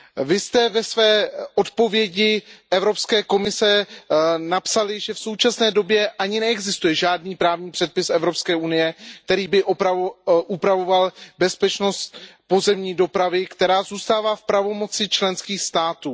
Vy jste ve své odpovědi Evropské komise napsali, že v současné době ani neexistuje žádný právní předpis EU, který by upravoval bezpečnost pozemní dopravy, která zůstává v pravomoci členských států.